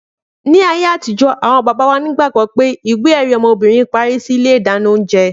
Ni ayé àtijó àwon bàbá wà nígbàgbọ́ wípé ìwé èrí ọmọbìnrin parí síi ilé ìdáná oúnjẹ